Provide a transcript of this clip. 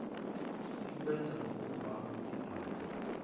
likwenza ngokubam libhale